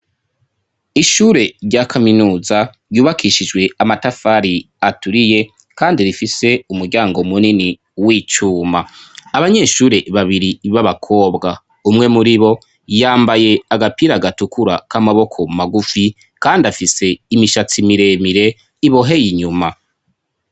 Ishure rya kaminuza ryubakishijwe amatafari aturiye kandi rifise umuryango munini w'icuma ,abanyeshure babiri b'abakobwa, umwe muri bo yambaye agapira gatukura k'amaboko magufi kandi afise imishatsi miremire ibohey' inyuma.